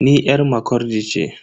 Ni yar Makurdi ce.